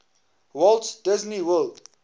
walt disney world